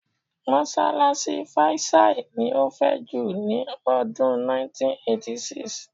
Mọ́ṣáláṣí faisal ni ó fẹ̀ jù ní ọdún 1986.